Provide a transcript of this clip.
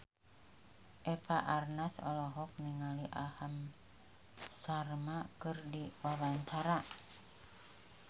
Eva Arnaz olohok ningali Aham Sharma keur diwawancara